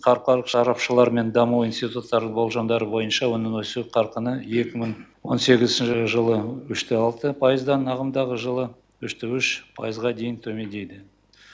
халықаралық сарапшылар мен даму институттарының болжамдары бойынша оның өсу қарқыны екі мың он сегізінші жылы үште алты пайыздан ағымдағы жылы үште үш пайызға дейін төмендейді